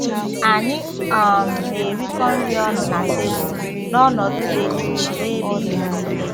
Anyị um na-erikọ nri ọnụ na tebụl n'ọnọdụ dị jụụ na ebe izu ike